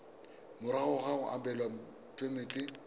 morago ga go abelwa phemiti